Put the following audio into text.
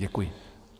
Děkuji.